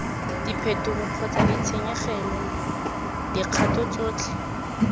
diphetogo kgotsa ditshenyegelo dikgato tsotlhe